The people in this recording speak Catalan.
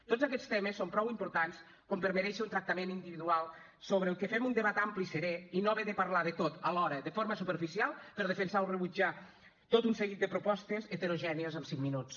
tots aquests temes són prou importants com per merèixer un tractament individual sobre el que fem un debat ampli i serè i no haver de parlar de tot alhora de forma superficial per defensar o rebutjar tot un seguit de propostes heterogènies en cinc minuts